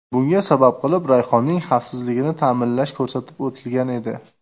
Bunga sabab qilib Rayhonning xavfsizligini ta’minlash ko‘rsatib o‘tilgan edi .